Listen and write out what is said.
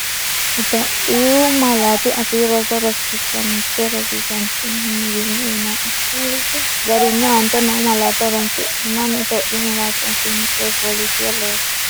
Itophiyu Malaatu Afii Roso Rosiishsha Mite Rosiisaanchi’newiinni uyinanni’ne lawishshi garinni aante noo malaatta horoonsidhinanni Itophiyu malaatu afiinni coyi fooliishshuwa loose.